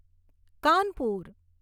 Kanpur